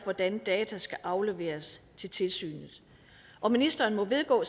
hvordan data skal afleveres til tilsynet og ministeren må vedgå